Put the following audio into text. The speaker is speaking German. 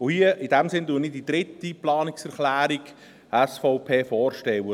In diesem Sinn stelle ich hier die dritte Planungserklärung der SVP vor: